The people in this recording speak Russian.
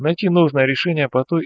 найти нужное решение по той